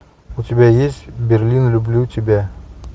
у тебя есть берлин люблю тебя